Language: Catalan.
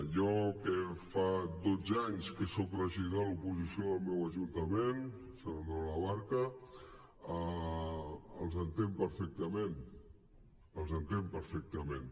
jo que fa dotze anys que soc regidor a l’oposició del meu ajuntament sant andreu de la barca els entenc perfectament els entenc perfectament